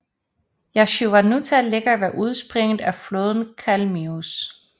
Jasynuvata ligger ved udspringet af floden Kalmius